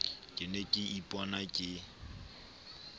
ke ne ke ipona ke